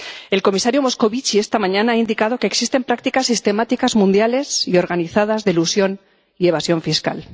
El comisario Moscovici, esta mañana, ha indicado que existen prácticas sistemáticas mundiales y organizadas de elusión y evasión fiscal.